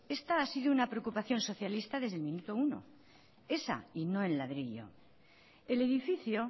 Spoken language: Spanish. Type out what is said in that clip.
esta ha sido una preocupación socialista desde el minuto uno esa y no el ladrillo el edificio